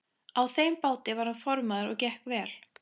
Á þeim báti var hann formaður og gekk vel.